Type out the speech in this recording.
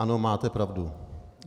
Ano, máte pravdu.